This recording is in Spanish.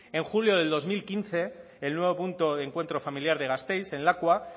en julio del dos mil quince el nuevo punto de encuentro familiar de gasteiz en lakua